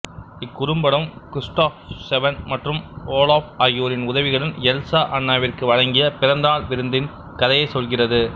இக் குறும்படம் Kristoff Sven மற்றும் ஓலாஃப் ஆகியோரின் உதவியுடன் எல்சா அன்னாவிற்கு வழங்கிய பிறந்தநாள் விருந்தின் கதையைச் சொல்கிறது